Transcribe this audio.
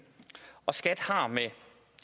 og skat har med